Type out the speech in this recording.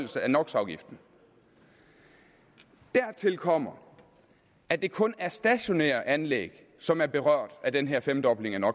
no dertil kommer at det kun er stationære anlæg som er berørt af den her femdobling af no